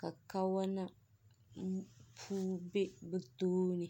ka kawana puu bɛ bi tooni.